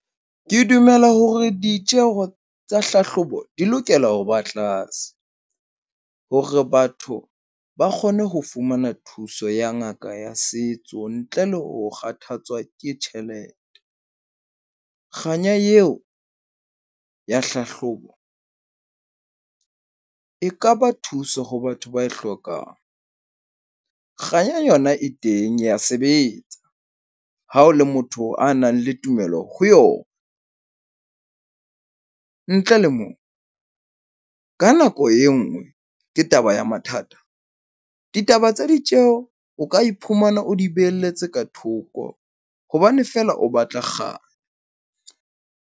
Ke dumela hore ditjeho tsa hlahlobo di lokela ho ba tlase hore batho ba kgone ho fumana thuso ya ngaka ya setso, ntle le ho kgathatswa ke tjhelete. Kganya eo ya hlahlobo e kaba thuso ho batho ba e hlokang. Kganya yona e teng ya sebetsa ha o le motho ya nang le tumello ho yona. Ntle le moo ka nako e nngwe ke taba ya mathata. Ditaba tsa ditjeho o ka iphumana o di beheletse ka thoko hobane feela o batla .